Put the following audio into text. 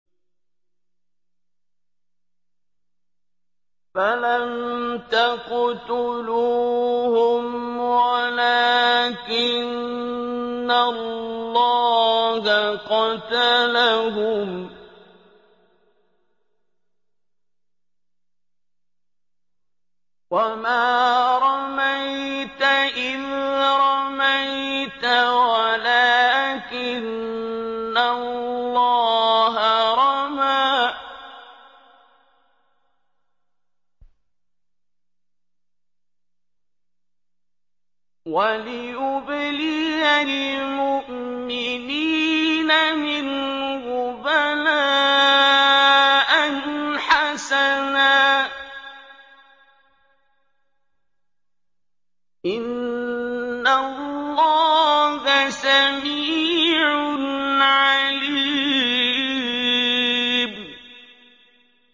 فَلَمْ تَقْتُلُوهُمْ وَلَٰكِنَّ اللَّهَ قَتَلَهُمْ ۚ وَمَا رَمَيْتَ إِذْ رَمَيْتَ وَلَٰكِنَّ اللَّهَ رَمَىٰ ۚ وَلِيُبْلِيَ الْمُؤْمِنِينَ مِنْهُ بَلَاءً حَسَنًا ۚ إِنَّ اللَّهَ سَمِيعٌ عَلِيمٌ